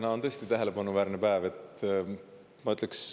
Täna on tõesti tähelepanuväärne päev.